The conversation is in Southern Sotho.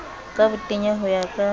ka botenya ho ya ka